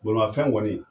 Bolimafɛn kɔni